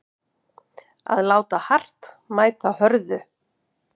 Að láta hart mæta hörðu